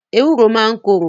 Ewúro máa ń korò.